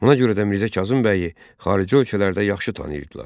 Buna görə də Mirzə Kazım bəyi xarici ölkələrdə yaxşı tanıyırdılar.